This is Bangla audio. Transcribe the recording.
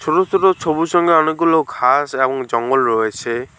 তুলো তুলো সবুজ রঙ্গের অনেকগুলো ঘাস এবং জঙ্গল রয়েছে।